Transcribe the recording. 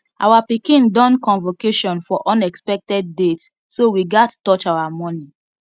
our pikin don convocation for unexpected date so we gat touch our money